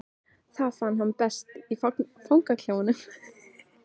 Það fann hann best í fangaklefanum.